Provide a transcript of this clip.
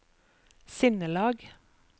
sinnelag